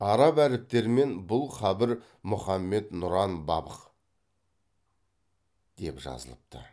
араб әріптерімен бұл қабір мұхаммед нұран бабх деп жазылыпты